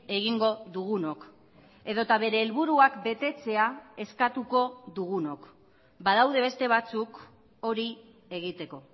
egingo dugunok edota bere helburuak betetzea eskatuko dugunok badaude beste batzuk hori egiteko